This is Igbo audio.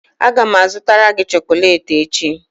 Aga m azụtara gị chocolate echi